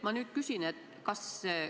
Ma nüüd küsin seda.